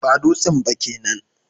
Ba dutsen ba kenan